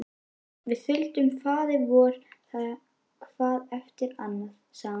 Við þuldum Faðirvorið hvað eftir annað, sagði hún.